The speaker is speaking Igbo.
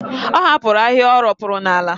Ọ hapụrụ ahịhịa o ropuru n'ala.